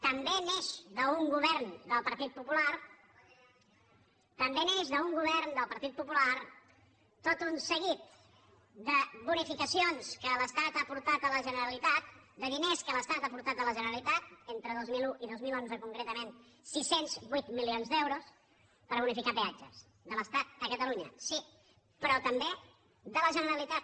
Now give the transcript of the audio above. també neix d’un govern del partit popular també neix d’un govern del partit popular tot un seguit de bonificacions que l’estat ha aportat a la generalitat de diners que l’estat ha aportat a la generalitat entre dos mil un i dos mil onze concretament sis cents i vuit milions d’euros per bonificar peatges de l’estat a catalunya sí però també de la generalitat